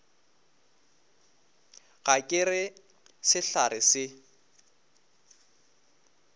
ga ke re sehlare se